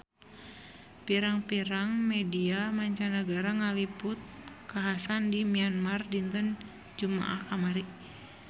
Pirang-pirang media mancanagara ngaliput kakhasan di Myanmar dinten Jumaah kamari